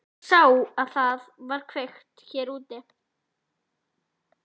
Ég sá að það var kveikt hér úti.